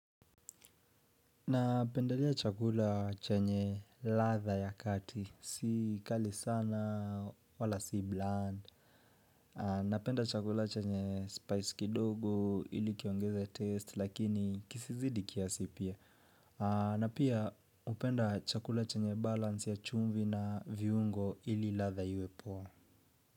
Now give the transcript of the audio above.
Napendelea chakula chenye ladha ya kati, si kali sana wala si bland Napenda chakula chenye spice kidogo ili kiongeze taste lakini kisizidi kiasi pia na pia hupenda chakula chenye balance ya chumvi na viungo ili ladha iwe poa.